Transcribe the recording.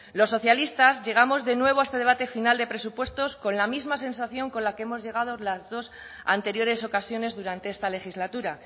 los socialistas llegamos de nuevo a este debate final de presupuestos con la misma sensación con la que hemos llegado las dos anteriores ocasiones durante esta legislatura